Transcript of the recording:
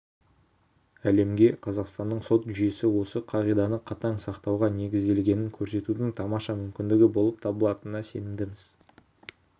әлемге қазақстанның сот жүйесі осы қағиданы қатаң сақтауға негізделгенін көрсетудің тамаша мүмкіндігі болып табылатынына сенімдіміз